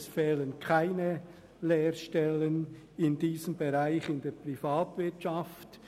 Es fehlen keine Lehrstellen in diesem Bereich in der Privatwirtschaft.